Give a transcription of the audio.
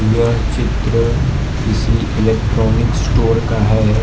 यह चित्र किसी इलेक्ट्रॉनिक स्टोर का है।